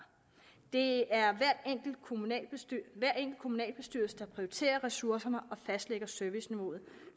det er hver enkelt kommunalbestyrelse der prioriterer ressourcerne og fastlægger serviceniveauet